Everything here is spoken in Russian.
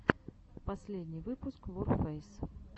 последний выпуск ворфэйс